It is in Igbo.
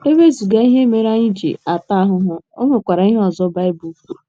E wezụga ihe mere anyị ji ata ahụhụ, o nwekwara ihe ọzọ Baịbụl kwuru.